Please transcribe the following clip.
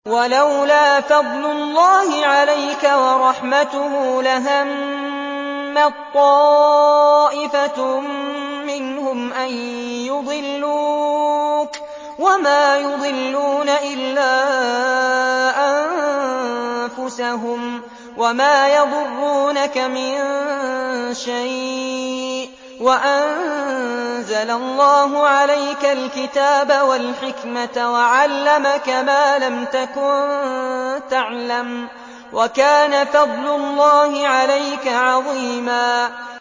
وَلَوْلَا فَضْلُ اللَّهِ عَلَيْكَ وَرَحْمَتُهُ لَهَمَّت طَّائِفَةٌ مِّنْهُمْ أَن يُضِلُّوكَ وَمَا يُضِلُّونَ إِلَّا أَنفُسَهُمْ ۖ وَمَا يَضُرُّونَكَ مِن شَيْءٍ ۚ وَأَنزَلَ اللَّهُ عَلَيْكَ الْكِتَابَ وَالْحِكْمَةَ وَعَلَّمَكَ مَا لَمْ تَكُن تَعْلَمُ ۚ وَكَانَ فَضْلُ اللَّهِ عَلَيْكَ عَظِيمًا